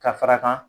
Ka fara kan